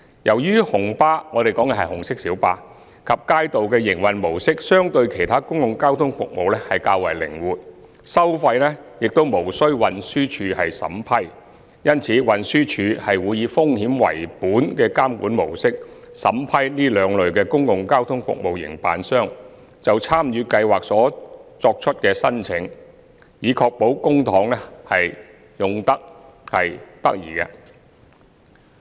由於紅巴及街渡的營運模式相對其他公共交通服務較為靈活，收費亦無須運輸署審批，因此運輸署會以風險為本的監管模式，審批這兩類公共交通服務營辦商就參與計劃所作出的申請，以確保公帑運用得宜。